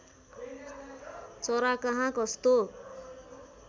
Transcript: चरा कहाँ कस्तो